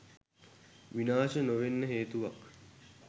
විනාශ නොවෙන්න හේතුවක්?